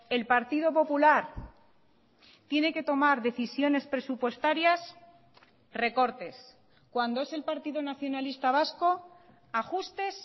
el partido popular tiene que tomar decisiones presupuestarias recortes cuando es el partido nacionalista vasco ajustes